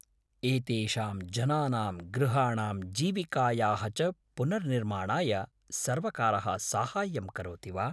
एतेषां जनानां गृहाणां जीविकायाः च पुनर्निर्माणाय सर्वकारः साहाय्यं करोति वा?